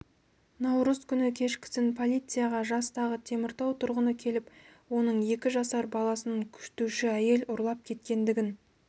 наурыз күні кешкісін полицияға жастағы теміртау тұрғыны келіп оның екі жасар баласын күтуші әйел ұрлап кеткендігін